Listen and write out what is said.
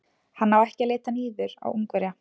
Hann á ekki að líta niður á Ungverja.